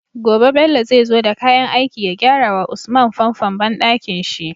Gobe Bello zai zo da kayan aiki ya gyara wa usman famfon banɗakin shi